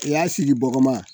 O y'a sigi bɔgɔma